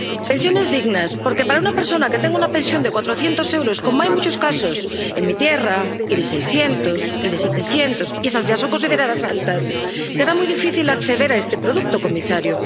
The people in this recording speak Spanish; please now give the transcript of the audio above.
Pensiones dignas, porque para una persona que tenga una pensión de cuatrocientos euros —como hay muchos casos en mi tierra—, y de seiscientos, y de setecientos —esas ya son consideradas altas—, será muy difícil acceder a este producto, señor comisario.